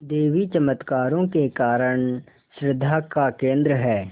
देवी चमत्कारों के कारण श्रद्धा का केन्द्र है